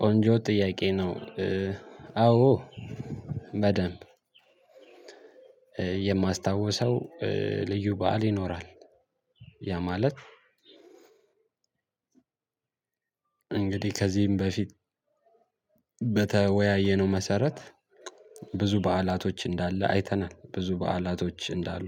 ቆንጆ ጥያቄ ነው። አዎ በደንብ የማስታውሰው ልዩ በዓል ይኖራል። ያ ማለት እንግዲህ ከዚህም በፊት በተወያየነው መሰረት ብዙ በዓላቶች እንዳለ አይተናል ብዙ በዓላቶች እንዳሉ።